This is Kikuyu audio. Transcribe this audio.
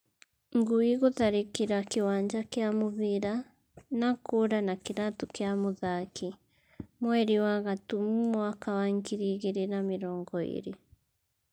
Ngui gũtharikira kiwanja kia mubira na kura na kiratu kia muthaki ,mweri wa gatumu mwaka wa ngiri igiri na mirongo iri